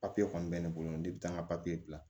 Papiye kɔni bɛ ne bolo ne bɛ taa n ka bila